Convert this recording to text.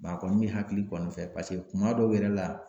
a kɔni bɛ hakili kɔni fɛ paseke kuma dɔw yɛrɛ la.